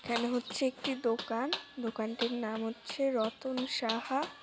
এখানে হচ্ছে একটি দোকান দোকানটির নাম হচ্ছে রতন সাহা।